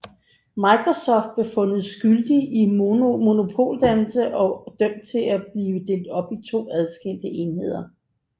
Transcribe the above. Microsoft blev fundet skyldig i monopoldannelse og dømt til at blive delt op i to adskilte enheder